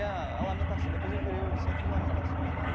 A a lamentação, depois eu virei o centro de lamentações lá do..